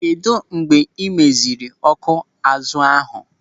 Kedụ mgbe ị meziri ọ́kụ́ azụ ahụ?